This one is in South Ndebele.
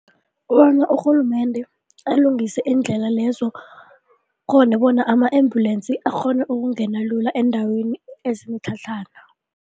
Kobana urhulumende alungise iindlela lezo khona bona ama-ambulensi akghone ukungena lula eendaweni ezinemitlhatlhana.